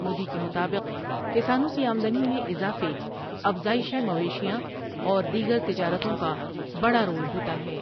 مودی کے مطابق کسانوں کی آمدنی میں اضافے افزائش مویشیاں اور دیگر تجارتوں کا بڑا رول ہوتا ہے ۔